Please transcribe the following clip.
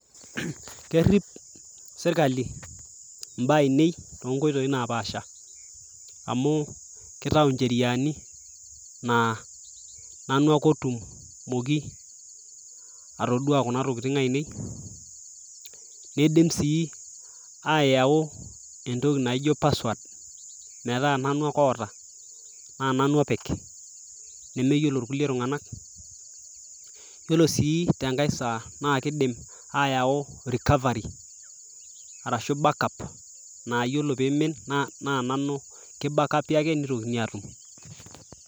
kerrip sirkali imbaa ainei tonkoitoi napaasha amu kitau incheriani naa nanu ake otumoki atodua kuna tokitin ainei nidim sii ayau entoki naijo password metaa nanu ake oota naa nanu opik nemeyiolo irkuli tung'anak yiolo sii tenkae saa naa kidim ayau recovery arashu backup nayiolo pimin naa nanu ki bakapi ake nitokini atum.